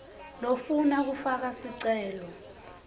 lofuna kufaka sicelo